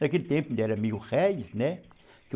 Naquele tempo não era mil réis, né?